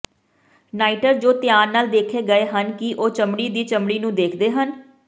ਨਾਈਟਰ ਜੋ ਧਿਆਨ ਨਾਲ ਦੇਖੇ ਗਏ ਹਨ ਕਿ ਉਹ ਚਮੜੀ ਦੀ ਚਮੜੀ ਨੂੰ ਦੇਖਦੇ ਹਨ